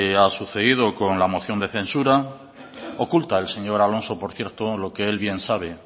ha sucedido con la moción de censura oculta el señor alonso por cierto lo que él bien sabe